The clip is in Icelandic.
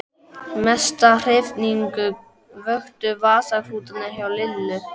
Mesta hrifningu vöktu vasaklútarnir frá Lillu.